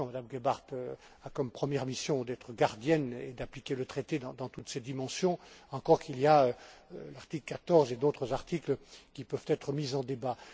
La Commission, Madame Gebhardt, a comme première mission d'être gardienne et d'appliquer le traité dans toutes ses dimensions, encore qu'il y a l'article 14 et d'autres articles qui peuvent être mis en débat.